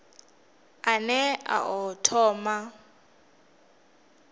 a ne a ḓo thoma